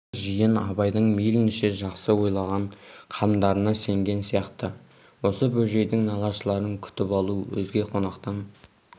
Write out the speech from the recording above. қазір жиын абайдың мейлінше жақсы ойлаған қамдарына сенген сияқты осы бөжейдің нағашыларын күтіп алу өзге қонақтан